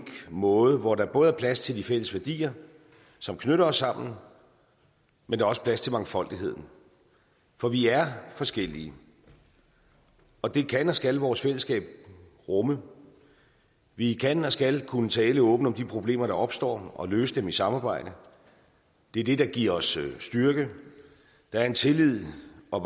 måde hvor der både er plads til de fælles værdier som knytter os sammen men også plads til mangfoldigheden for vi er forskellige og det kan og skal vores fællesskab rumme vi kan og skal kunne tale åbent om de problemer der opstår og løse dem i samarbejde det er det der giver os styrke der er en tillid og